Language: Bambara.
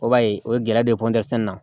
O b'a ye o ye gɛlɛya don na